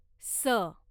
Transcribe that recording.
स